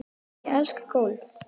Ég elska golf.